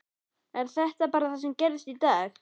Er þetta bara það sem gerðist í dag?